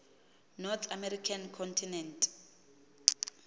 north american continent